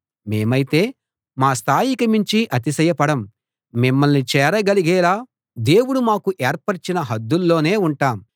మేమైతే మా స్థాయికి మించి అతిశయపడం మిమ్మల్ని చేరగలిగేలా దేవుడు మాకు ఏర్పరచిన హద్దుల్లోనే ఉంటాం